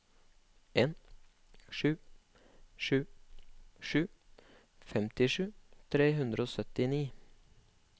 en sju sju sju femtisju tre hundre og syttini